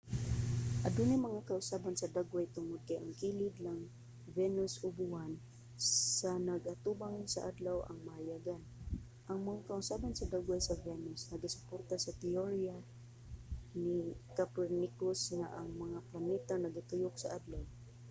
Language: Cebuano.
adunay mga kausaban sa dagway tungod kay ang kilid lang venus o sa buwan nga nag-atubang sa adlaw ang mahayagan. ang mga kausaban sa dagway sa venus nagasuporta sa teorya ni copernicus nga ang mga planeta nagatuyok sa adlaw